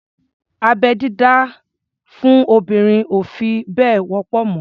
Abẹ́-dídá fún obìnrin ò fi bẹ́ẹ̀ wọ́pọ̀ mọ́.